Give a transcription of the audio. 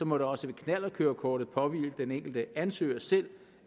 må det også ved knallertkørekortet påhvile den enkelte ansøger selv